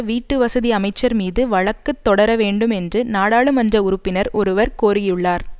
வீட்டு வசதி அமைச்சர் மீது வழக்கு தொடரவேண்டும் என்று நாடாளுமன்ற உறுப்பினர் ஒருவர் கோரியுள்ளார்